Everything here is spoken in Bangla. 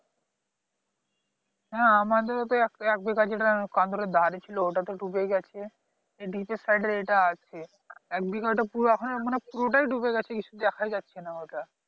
হ্যাঁ আমাদেরও তো এক এক বিঘা যেটা কান্দুরের ধারে ছিল ওটা তো ডুবে গেছে এদিকের side এর এটা আছে একবিঘা ওটা পুরো এখনো মানে পুরোটাই ডুবে গেছে কিছু দেখায় যাচ্ছে না